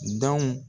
Dɔn